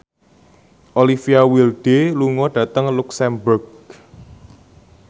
Olivia Wilde lunga dhateng luxemburg